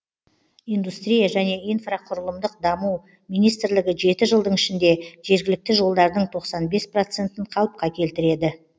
индустрия және инфрақұрылымдық даму министрлігі жеті жылдың ішінде жергілікті жолдардың тоқсан бес процентін қалыпқа келтіреді